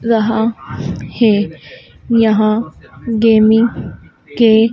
रहा हैं यहाँ गेमिंग के--